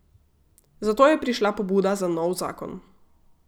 Zato je prišla pobuda za nov zakon.